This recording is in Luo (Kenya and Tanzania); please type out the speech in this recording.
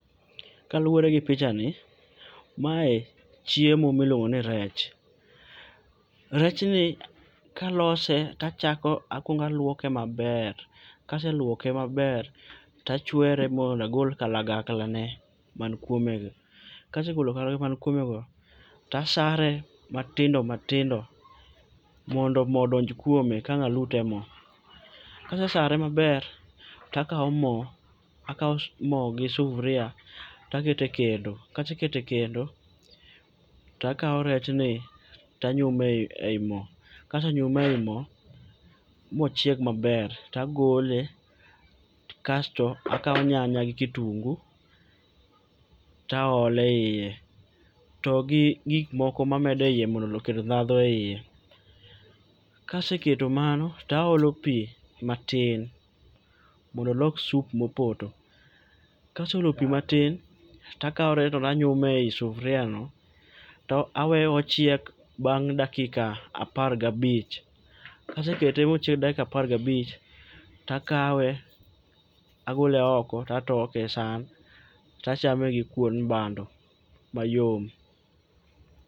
Kaluore gi pichani, mae chiemo miluongo ni rech, rech ni kalose tachako akuongo aluoke maber, kaseluoke maber tachwere magol kalagakla ne man kuome go, kasegolo kalagakla man kuome go tasare matindo matindo mondo moo odonj kuome ka wang alute e moo. Kasesare maber takao moo, takao moo gi sufrua takete kendo, kasekete kendo takao rech ni tanyume ei moo, kasenyume e moo mochieg maber tagole kasto akaw nyanya gi kitungu taole iye togi gik moko mamede iye mondo okel ndhandhu e iye. Kaseketo mano taolo pii matin mondo olos sup mopoto. Kaseolo pii matin takao rech no tanyumei sufria no taweyo ochiek ochiek bang dakika apar gabich. Kasekete mochiek dakika apar gabich takawe agole oko tatoke e san tachame gi kuon bando mayom.